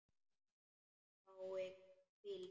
Fái hvíld?